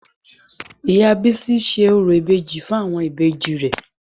Ìyá Bísí ṣe orò ìbejì fún àwọn ìbejì rẹ̀